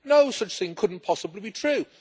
No such thing! It couldn't possibly be true.